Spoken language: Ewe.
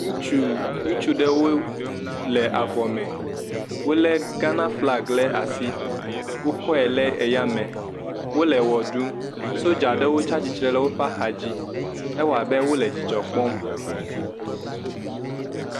Ŋutsu, ŋutsu ɖewo le avɔ me wolé Ghana flaga ɖe asi, wokɔe ɖe eyame, wole ʋe ɖum, sodzaɖewo tsi atsitre ɖe woƒe axa me, edze abe wole dzidzɔ kpɔm.